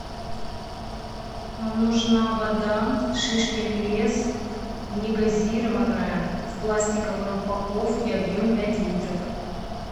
нужна вода шишкин лес не газированная в пластиковой упаковке объем пять литров